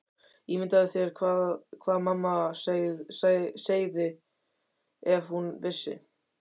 Ímyndaðu þér hvað mamma segði ef hún vissi.